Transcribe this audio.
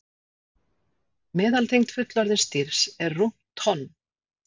Meðalþyngd fullorðins dýrs er rúmt tonn.